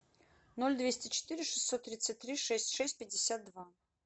ноль двести четыре шестьсот тридцать три шесть шесть пятьдесят два